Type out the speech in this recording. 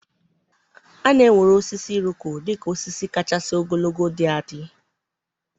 A na-ewere osisi Iroko dị ka osisi kachasị ogologo dị adị.